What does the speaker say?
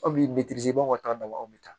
Aw b'i ka taa dabaw bi taa